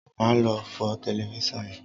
ma lo fọ Tẹlifísàn yén!